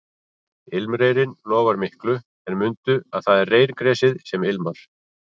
Ilmreyrinn lofar miklu en mundu að það er reyrgresið sem ilmar